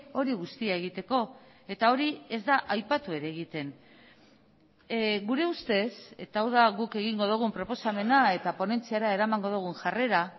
hori guztia egiteko eta hori ez da aipatu ere egiten gure ustez eta hau da guk egingo dugun proposamena eta ponentziara eramango dugun jarrera